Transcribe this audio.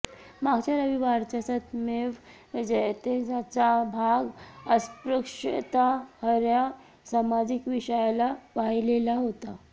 मागच्या रविवारचा सत्यमेव जयतेचा भाग अस्पृश्यता ह्या सामाजिक विषयाला वाहिलेला होता